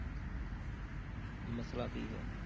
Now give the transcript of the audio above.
ਮਸ਼ਲਾ ਕੀ ਹੈ?